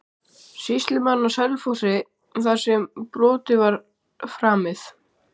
Sýslumaðurinn á Selfossi þar sem brotið var framið?